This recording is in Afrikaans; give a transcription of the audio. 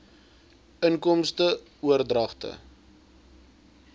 inkomste oordragte